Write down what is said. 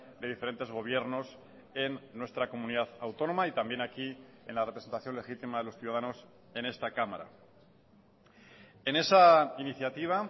de diferentes gobiernos en nuestra comunidad autónoma y también aquí en la representación legítima de los ciudadanos en esta cámara en esa iniciativa